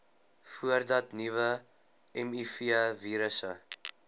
voordat nuwe mivirusse